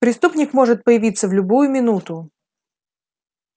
преступник может появиться в любую минуту